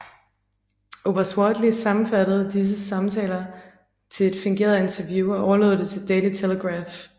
Oberst Wortley sammenfattede disse samtaler til et fingeret interview og overlod det til Daily Telegraph